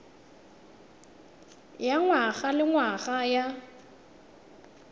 ya ngwaga le ngwaga ya